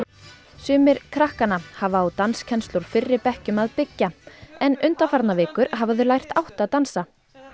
sumir krakkanna hafa á danskennslu úr fyrri bekkjum að byggja en undanfarnar vikur hafa þau lært átta dansa